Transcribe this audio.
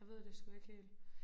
Jeg ved det sgu ikke helt